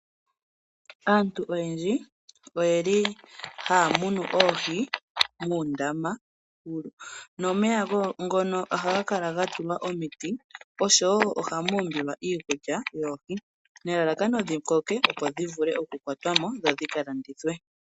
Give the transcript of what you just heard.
Aantu oyendji oyeli haya munu oohi muundama. Omeya ngono ohaga kala gatulwa omiti oshowo ohamu umbilwa iikulya yoohi nelalakano dhi koke dho dhi vule oku kwatwa mo dho dhika landithwe.